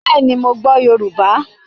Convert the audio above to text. Bẹ́ẹ̀ni, mo gbọ́ Yorùbá